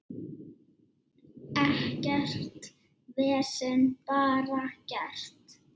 Ekkert vesen, bara gert.